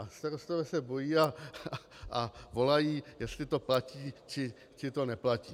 A starostové se bojí a volají, jestli to platí, či to neplatí.